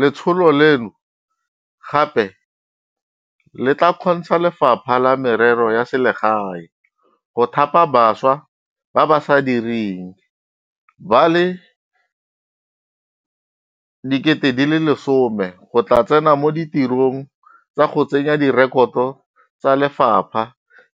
Letsholo leno gape le tla kgontsha Lefapha la Merero ya Selegae go thapa bašwa ba ba sa direng ba le 10 000 go tla go tsena mo ditirong tsa go tsenya direkoto tsa lefapha